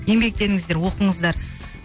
еңбектеніңіздер оқыңыздар